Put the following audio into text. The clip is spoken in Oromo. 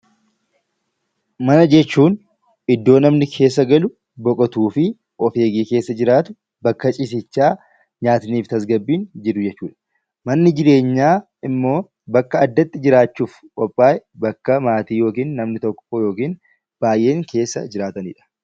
Mana jechuun iddoo namni keessa galu, boqotuu, of eegee keessa jiraatu, bakka ciisichaa yaadniif tasgabbiin jiru jechuudha. Manni jireenyaa immoo bakka addatti jiraachuuf qophaa'e bakka maatiin yookiin namni tokko yookiin baay'een keessa jiraatanidha.